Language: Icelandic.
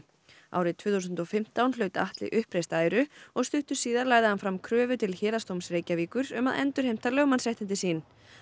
árið tvö þúsund og fimmtán hlaut Atli uppreist æru og stuttu síðar lagði hann fram kröfu til Héraðsdóms Reykjavíkur um að endurheimta lögmannsréttindi sín